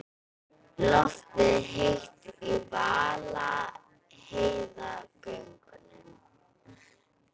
Loftið er heitt í Vaðlaheiðargöngum.